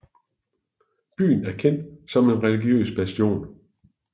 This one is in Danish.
Byen er kendt som en religiøs bastion